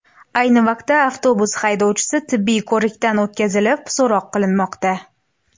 Ayni vaqtda avtobus haydovchisi tibbiy ko‘rikdan o‘tkazilib, so‘roq qilinmoqda.